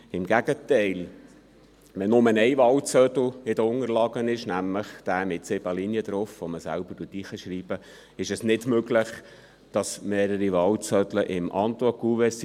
im Gegenteil: Wenn nur ein Wahlzettel in den Unterlagen ist, nämlich derjenige mit sieben Linien, den man selber beschriften kann, ist es nicht möglich, dass sich mehrere Wahlzettel im Antwortkuvert befinden.